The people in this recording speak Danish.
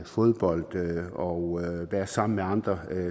fodbold og være sammen med andre